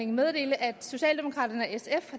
meddele at socialdemokraterne